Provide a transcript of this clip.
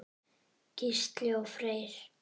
Gísli og Freyr.